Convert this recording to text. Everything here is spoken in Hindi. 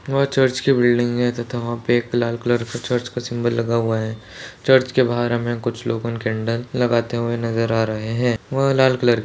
वह चर्च की बिल्डिंग है तथा वह पे एक लाल कलर का सिंबल लगा हुआ है चर्च के बाहर हमें कुछ लोगो कॅन्डल लगते हुए नज़र आ रहे है वह लाल कलर --